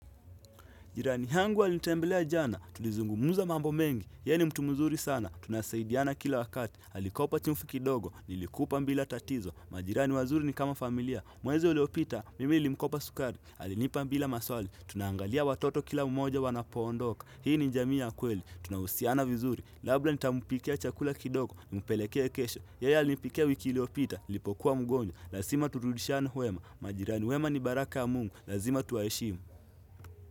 Jirani hangu alinitembelea jana, tulizungumuza mambo mengi, yeye ni mtu mzuri sana, tunasaidiana kila wakati, alikopa chumfi kidogo, nilikupa mbila tatizo, majirani wazuri ni kama familia, mwezi uliopita, mimi nilimkopa sukari, alinipa mbila maswali, tunangalia watoto kila umoja wanapoondoka, hii ni jamii ya kweli, tunahusiana vizuri, labda nitampikia chakula kidogo, mupelekea kesho, yeye alinipikia wiki iliyopita, nilipokuwa mgonjwa, lasima turudishiane wema, majirani wema ni baraka ya mungu, lazima tuwaheshimu.